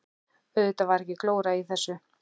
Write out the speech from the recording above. Auðvitað var ekki glóra í þessu.